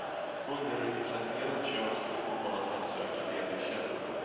Underrepresenterat kön ska uppmanas att söka ledig tjänst.